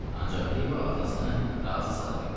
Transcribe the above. Ancaq Yeva atasını razı sala bildi.